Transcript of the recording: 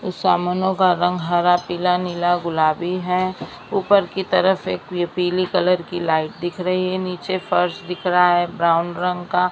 इस सामुनों का रंग हरा पीला नीला गुलाबी है ऊपर की तरफ एक ये पीले कलर की लाइट दिख रही है नीचे फर्श दिख रहा है ब्राउन ब्राउन रंग का--